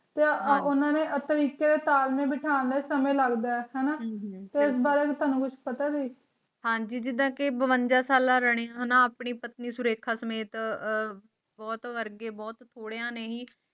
ਉਹਨਾਂ ਨੂੰ ਅਸਲ ਵਿੱਚ ਧਾਰਮਿਕ ਪਛਾਣ ਢੰਗ ਨਾਲ ਬੈਠਣਾ ਲਈ ਸਮੇਂ ਲਗਦਾ ਹੈ ਤੇ ਏਸ ਬਾਰੇ ਤੈਨੂੰ ਕੁਛ ਪਤਾ ਹੈ ਹਾਂਜੀ ਦਿੱਤਾ ਕਿ ਭੂਚਾਲ ਆ ਰਹੇ ਹਨ ਆਪਣੀ ਪਤਨੀ ਸੂਜ਼ੈਨ ਖਾਨ ਸਮੇਤ ਬਹੁਤ ਸਾਰੇ ਬਹੁਤ ਥੋੜ੍ਹੀ ਨੇਹੀ